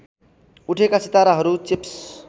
उठेका सिताराहरू चिप्स